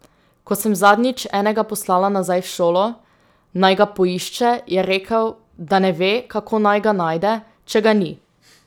Ko sem zadnjič enega poslala nazaj v šolo, naj ga poišče, je rekel, da ne ve, kako naj ga najde, če ga ni.